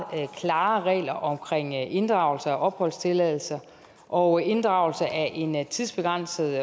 klare regler om inddragelse af opholdstilladelser og inddragelse af en tidsbegrænset